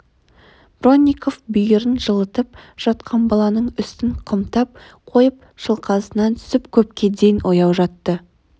бронников бүйірін жылытып жатқан баланың үстін қымтап қойып шалқасынан түсіп көпке дейін ояу жатты